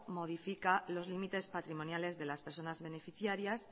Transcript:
modifica los límites patrimoniales de las personas beneficiarias